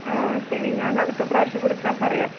ആ ശരി. ഞാൻ അടുത്ത പ്രാവശ്യം വിളിച്ചാൽ പറയാം.